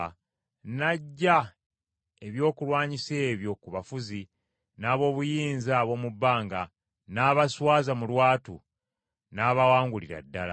n’aggya ebyokulwanyisa ebyo ku bafuzi n’ab’obuyinza ab’omu bbanga, n’abaswaza mu lwatu, n’abawangulira ddala.